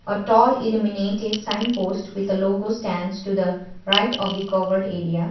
a tall illuminated sign post with a logo stands to the right of the covered area.